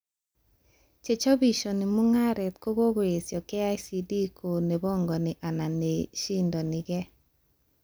Chechobishani mugaret kokoesho KICD ko nebangani ak neshindonikee